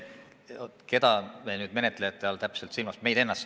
Keda te menetlejate all täpselt silmas peate?